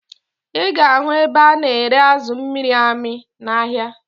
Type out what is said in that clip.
Ị ga-ahụ ebe a na-ere azụ amịrị amị n'ahịa